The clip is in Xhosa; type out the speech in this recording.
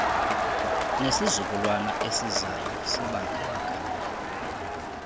nesizukulwana esizayo sibangaka